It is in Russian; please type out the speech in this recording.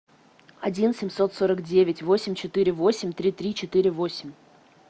один семьсот сорок девять восемь четыре восемь три три четыре восемь